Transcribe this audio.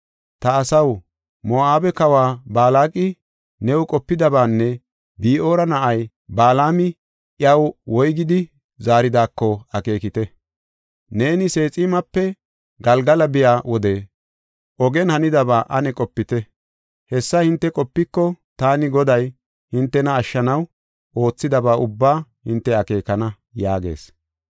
Ta asaw, Moo7abe kawa Balaaqi new qopidabaanne Bi7oora na7ay Balaami iyaw woygidi zaaridaako akeekite. Neeni Seeximape Galgala biya wode, ogen hanidaba ane qopite. Hessa hinte qopiko taani Goday hintena ashshanaw oothidaba ubbaa hinte akeekana” yaagees.